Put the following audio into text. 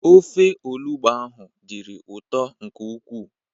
Ofe olugbo ahụ dịrị ụtọ nke ukwuu.